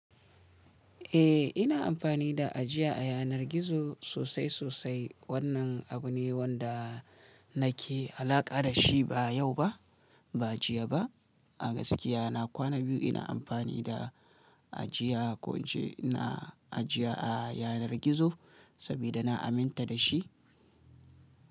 Eh ina amfani da ajiya a yanar gizo sosai sosai. Wannan abu ne wanda nake alaƙa da shi, ba yau ba, ba jiya ba, A gaskiya na kwana biyu ina amfani da ajiya, ko in ce ina ajiya a yanar gizo saboda na aminta da shi.